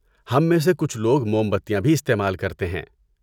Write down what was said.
ہم میں سے کچھ لوگ موم بتیاں بھی استعمال کرتے ہیں۔